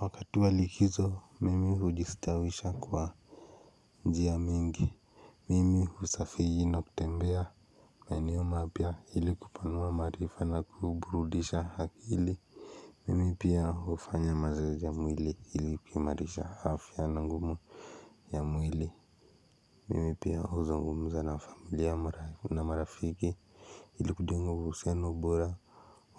Wakati wa likizo mimi hujistawisha kwa njia mingi. Mimi husafiri na kutembea maeneo mapya ili kupanua maarifa na kuburudisha akili mimi pia hufanya mazoezi ya mwili ili kuimarisha afya na nguvu ya mwili mimi pia huzungumza na familia na marafiki ili kujenga uhusiano bora